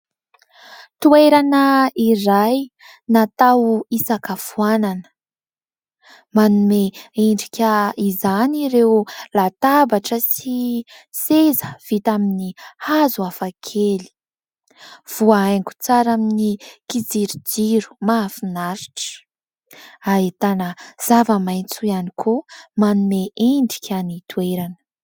Toerana iray natao hisakafoanana. Manome endrika izany ireo latabatra sy seza vita amin'ny hazo hafakely. Voahaingo tsara amin'ny kijirojiro mahafinaritra. Ahitana zava-maitso ihany koa manome endrika ny toerana.